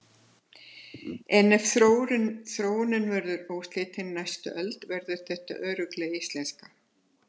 En ef þróunin verður óslitin næstu öld verður þetta örugglega íslenska.